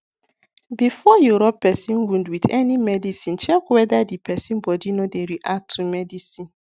before you rub person wound with any medicine check wether the person body no dey react to medicine